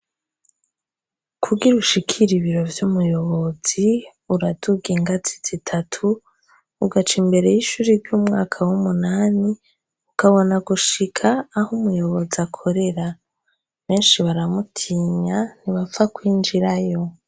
Kugira ushikire ibiro vy'umuyobozi uraduga ingazi zitatu, ugaca imbere y'ishure ry'umwaka w'umunani ukabona gushika aho umuyobozi akorera. Benshi baramutinya, ntiwapfa kwinjirayo.